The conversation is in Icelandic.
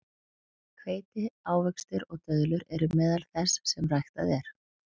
Hveiti, ávextir og döðlur eru meðal þess sem ræktað er.